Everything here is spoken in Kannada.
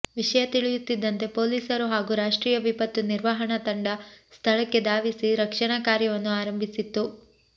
ವಿಷಯ ತಿಳಿಯುತ್ತಿದ್ದಂತೆ ಪೊಲೀಸರು ಹಾಗೂ ರಾಷ್ಟ್ರಿಯ ವಿಪತ್ತು ನಿರ್ವಹಣಾ ತಂಡ ಸ್ಥಳಕ್ಕೆ ಧಾವಿಸಿ ರಕ್ಷಣಾ ಕಾರ್ಯವನ್ನು ಆರಂಭಿಸಿತ್ತು